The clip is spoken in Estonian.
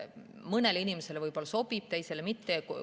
Mõnele inimesele see sobib, teisele mitte.